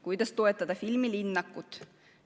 Kuidas toetada filmilinnakut?